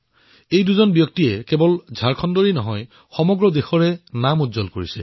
এই দুই মহান বিভূতিয়ে কেৱল ঝাৰখণ্ডৰে নহয় সমগ্ৰ দেশৰ নাম উজ্বল কৰিছে